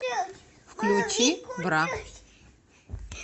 включи бра